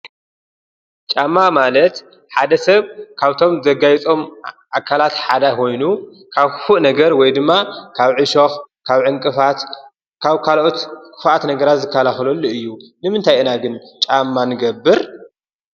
ጫማ ማለት ሓደ ሰብ ካብቶም ዘጋይፆም ኣካላት ሓደ ኮይኑ ፤ ካብ ክፉእ ነገር ወይ ድማ ካብ እሾክ ዕንቅፋት ካሎት ክፉኣት ነገራት ዝከላኸለሉ እዩ። ንምታይ ኢና ግን ጫማ ንገብር?